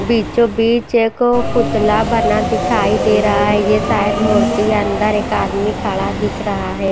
बीचों बीच एगो पुतला बना दिखाई दे रहा है ये शायद मूर्ति अंदर एक आदमी खड़ा दिख रहा है।